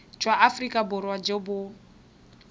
jwa aforika borwa jo bo